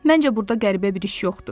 Məncə burda qəribə bir iş yoxdur.